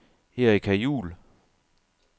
Erika Juel